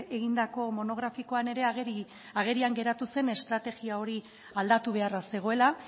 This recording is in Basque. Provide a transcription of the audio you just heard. egindako monografikoan ere agerian geratu zen estrategia hori aldatu beharra zegoela